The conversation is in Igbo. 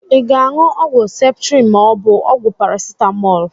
Ị ga-aṅụ ọgwụ ceptrin ma ọ bụ ọgwụ paracitamọọlụ?